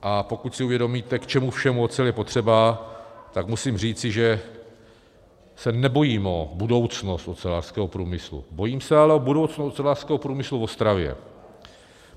A pokud si uvědomíte, k čemu všemu ocel je potřeba, tak musím říci, že se nebojím o budoucnost ocelářského průmyslu, bojím se ale o budoucnost ocelářského průmyslu v Ostravě.